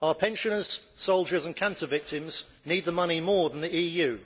Our pensioners, soldiers and cancer victims need the money more than the EU.